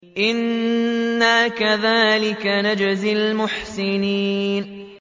إِنَّا كَذَٰلِكَ نَجْزِي الْمُحْسِنِينَ